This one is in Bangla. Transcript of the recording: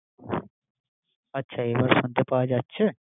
আমি বুঝতে পারছিনা তোমার কথা। আচ্ছা এবার শুনতে পাওয়া যাচ্ছে।